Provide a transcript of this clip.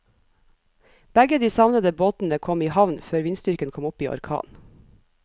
Begge de savnede båtene kom i havn før vindstyrken kom opp i orkan.